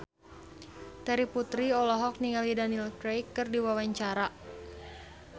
Terry Putri olohok ningali Daniel Craig keur diwawancara